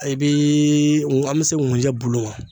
I bii an bɛ se nkunjɛ bulu ma